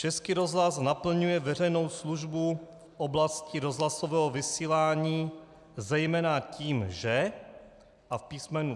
Český rozhlas naplňuje veřejnou službu v oblasti rozhlasového vysílání zejména tím, že ... a v písm.